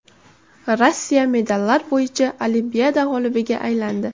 Rossiya medallar bo‘yicha Olimpiada g‘olibiga aylandi.